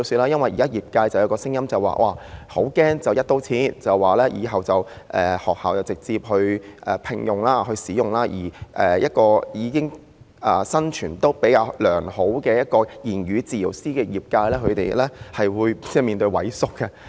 現在業界有聲音表示，很擔心"一刀切"，以後由學校直接聘用言語治療師及使用其服務，這樣對於生存環境比較良好的言語治療師業界而言，他們可能會萎縮。